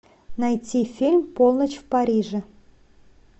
найти фильм полночь в париже